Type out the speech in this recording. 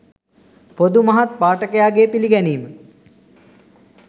පොදු මහත් පාඨකයාගේ පිළිගැනීම